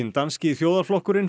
Danski þjóðarflokkurinn